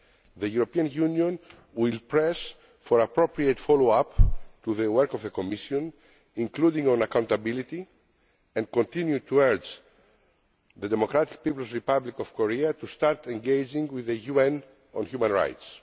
The European Union will press for an appropriate follow up to the work of the Commission, including on accountability, and will continue to urge the Democratic People's Republic of Korea to start engaging with the UN on human rights.